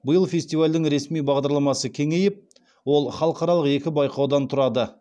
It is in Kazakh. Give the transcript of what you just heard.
биыл фестивальдің ресми бағдарламасы кеңейіп ол халықаралық екі байқаудан тұрады